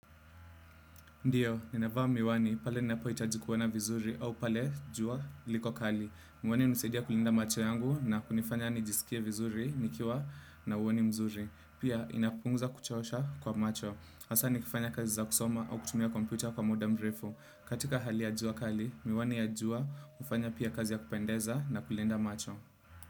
Ndiyo, ninavaa miwani, pale ninapo hitaji kuona vizuri au pale jua liko kali. Miwani hunisaidia kulinda macho yangu na kunifanya nijisikie vizuri, nikiwa na uoni mzuri. Pia inapunguza kuchosha kwa macho. Hasaa nikifanya kazi za kusoma au kutumia kompyuta kwa muda mrefu. Katika hali ya jua kali, miwani ya jua hufanya pia kazi ya kupendeza na kulinda macho.